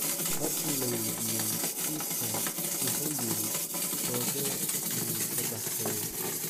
Markii la weydiiyey kiiskan, wuxuu yiri: "Kobe wuu ka baxsaday."